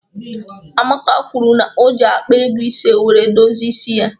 Amaka kwuru n'oji akpa ego ise wéré dozie ịsị ya